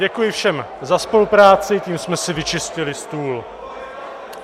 Děkuji všem za spolupráci, tím jsme si vyčistili stůl.